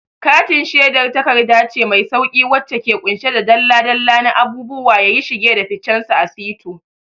Katin shedar takarda ce mai sauƙi wacce ke ƙunshe da dalla-dalla na abubuwa yayi shige da ficensu a sito.